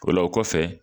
O la o kɔfɛ